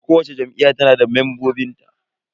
Kowacce Jam'iyya tana da membobin ta.